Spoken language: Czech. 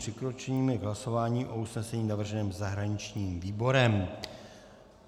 Přikročíme k hlasování o usnesení navrženém zahraničním výborem.